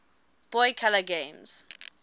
boy color games